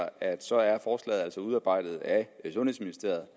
altså er udarbejdet af ministeriet